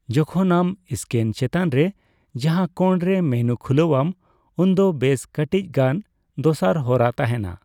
ᱡᱚᱠᱷᱚᱱ ᱟᱢ ᱥᱠᱮᱱ ᱪᱮᱛᱟᱱ ᱨᱮ ᱞᱟᱸᱜᱟ ᱠᱳᱬ ᱨᱮ ᱢᱮᱱᱩ ᱠᱷᱩᱞᱟᱣ ᱟᱢ, ᱩᱱᱫᱚ ᱵᱮᱥ ᱠᱟᱴᱤᱪᱜᱟᱱ ᱫᱚᱥᱟᱨ ᱦᱚᱨᱟ ᱛᱟᱦᱮᱱᱟ ᱾